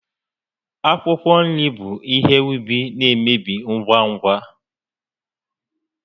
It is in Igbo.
Akwụkwọ nri bụ ihe úbì na-emebi ngwa ngwa